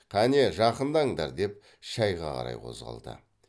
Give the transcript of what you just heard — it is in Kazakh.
кәне жақындаңдар деп шайға қарай қозғалды